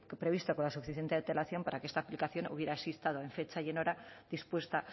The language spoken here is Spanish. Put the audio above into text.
previsto con la suficiente antelación para que esta aplicación hubiera estado en fecha y en hora dispuesta